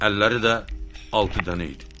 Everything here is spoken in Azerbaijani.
Əlləri də altı dənə idi.